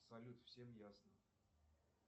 салют всем ясно